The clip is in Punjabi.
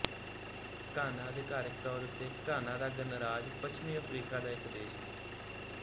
ਘਾਨਾ ਅਧਿਕਾਰਕ ਤੌਰ ਉੱਤੇ ਘਾਨਾ ਦਾ ਗਣਰਾਜ ਪੱਛਮੀ ਅਫ਼ਰੀਕਾ ਦਾ ਇੱਕ ਦੇਸ਼ ਹੈ